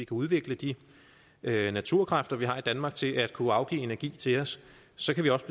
udvikle de naturkræfter vi har i danmark til at kunne afgive energi til os så kan vi også